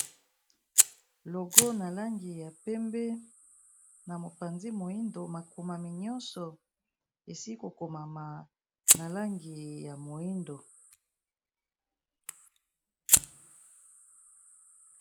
Logo n'a langi ya penbe pe na langi ya moyindo